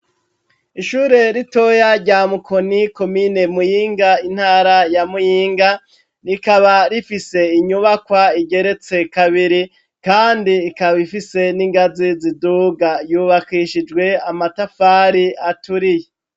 Ishure ritoya rya Mukoni komine Muyinga intara ya Muyinga rikaba rifise inyubakwa igeretse kabiri kandi ikaba ifise n'ingazi ziduga, yubakishijwe amatafari aturiye.